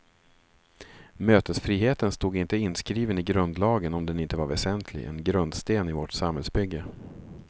Mötesfriheten stod inte inskriven i grundlagen om den inte var väsentlig, en grundsten i vårt samhällsbygge.